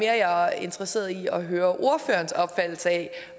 at jeg er interesseret i at høre ordførerens opfattelse af